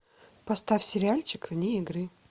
поставь сериальчик вне игры